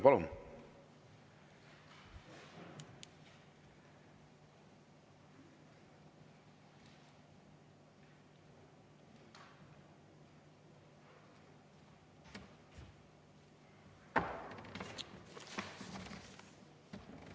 Palun!